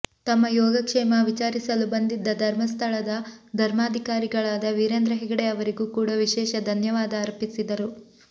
ತಮ್ಮ ಯೋಗಕ್ಷೇಮ ವಿಚಾರಿಸಲು ಬಂದಿದ್ದ ಧರ್ಮಸ್ಥಳದ ಧರ್ಮಾಧಿಕಾರಿಗಳಾದ ವೀರೇಂದ್ರ ಹೆಗಡೆ ಅವರಿಗೂ ಕೂಡ ವಿಶೇಷ ಧನ್ಯವಾದ ಅರ್ಪಿಸಿದರು